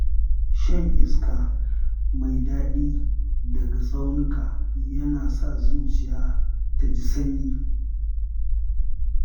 Shan iska mai daɗi daga tsaunuka yana sa zuciya ta ji sanyi.